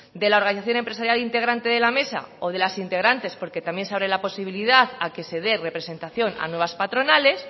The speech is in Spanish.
de la organización empresarial integrante de la mesa o de las integrantes porque también se abre la posibilidad a que se de representación a nuevas patronales